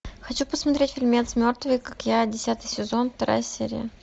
хочу посмотреть фильмец мертвые как я десятый сезон вторая серия